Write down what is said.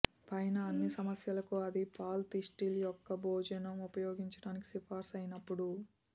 పైన అన్ని సమస్యలకు అది పాలు తిస్టిల్ యొక్క భోజనం ఉపయోగించడానికి సిఫార్సు అయినప్పుడు